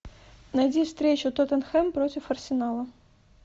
найди встречу тоттенхэм против арсенала